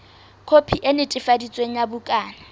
khopi e netefaditsweng ya bukana